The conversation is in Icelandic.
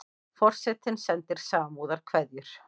Forsetinn sendir samúðarkveðjur